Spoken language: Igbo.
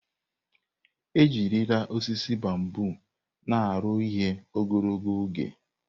Ejirila osisi bambọ na aru ihe ogologo oge.